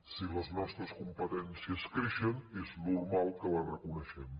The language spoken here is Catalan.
si les nostres com·petències creixen és normal que les reconeixem